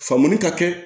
Faamu ka kɛ